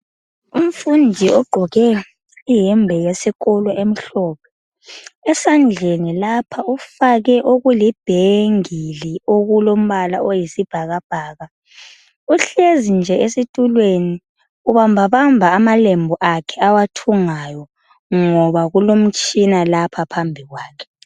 Umfundi ogqoke iyembe yesikolo emhlophe esandleni lapha ufake okuli bhengili okulombala oyisibhakabhaka uhlezi nje esitulweni ubamba bamba amalembu akhe awathungayo ngoba kulomtshina lapha phambi kwakhe.